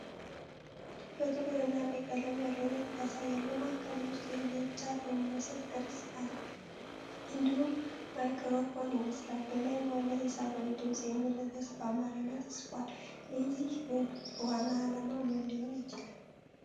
ጥቁር እና ቀይ ቀለም ያለው ንድፍ ያሳያል። በማዕከሉ ውስጥ የብዕር ጫፍ የሚመስል ቅርጽ አለ፣ እንዲሁም ማይክሮፎን ይመስላል። በላይኛው ላይ "የሰባዊ ድምፅ" የሚል ርዕስ በአማርኛ ተጽፏል። የዚህ ንድፍ ዋና ዓላማ ምን ሊሆን ይችላል?